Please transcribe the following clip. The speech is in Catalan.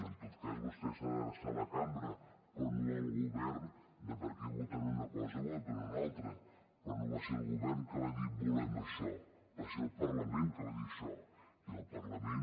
en tot cas vostè s’ha d’adreçar a la cambra però no al govern de per què voten una cosa o en voten una altra però no va ser el govern que va dir volem això va ser el parlament que va dir això i el parlament